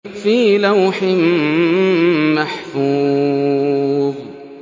فِي لَوْحٍ مَّحْفُوظٍ